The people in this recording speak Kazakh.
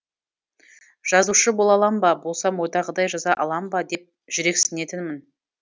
жазушы бола алам ба болсам ойдағыдай жаза алам ба деп жүрексінетінмін